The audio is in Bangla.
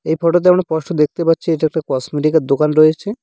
এই ফটো -তে আমরা স্পষ্ট দেখতে পাচ্ছি এইটা একটা কসমেটিকের -এর দোকান রয়েছে।